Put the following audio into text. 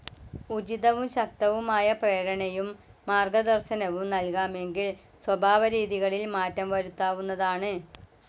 ഉചിതവും ശക്തവുമായ പ്രേരണയും മാർഗദർശനവും നൽകാമെങ്കിൽ സ്വഭാവരീതികളിൽ മാറ്റം വരുത്താവുന്നതാണ്.